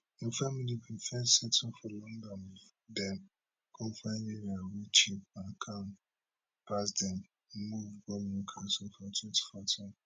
im family bin first settle for london bifor dem come find area wey cheap and calm pass dem move go newcastle for twenty fourteen